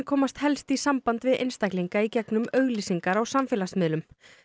komast helst í samband við einstaklinga í gegnum auglýsingar á samfélagsmiðlum